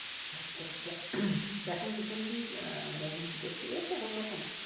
আচ্ছা আচ্ছা এখন মুভি কি দেখতে গিয়েছ কোন রকম